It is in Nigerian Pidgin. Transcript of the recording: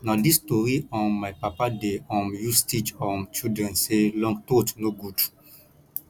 na dis tori um my papa dey um use teach um children sey long throat no good